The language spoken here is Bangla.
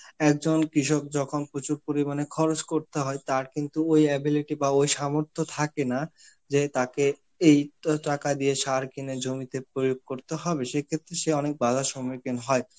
একজন কৃষক যখন প্রচুর পরিমাণে খরচ করতে হয়, তার কিন্তু ওই ability বা ওই সামর্থ্য থাকে না যে তাকে এই তো টাকা দিয়ে সার কিনে জমিতে প্রয়োগ করতে হবে, সেই ক্ষেত্রে সে অনেক বাধার সম্মুখীন হয়.